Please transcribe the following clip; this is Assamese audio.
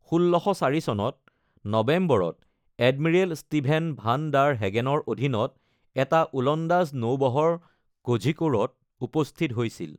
১৬০৪ চনৰ নৱেম্বৰত এডমিৰেল ষ্টিভেন ভান ডাৰ হেগেনৰ অধীনত এটা ওলন্দাজ নৌবহৰ কোঝিকোড়ত উপস্থিত হৈছিল।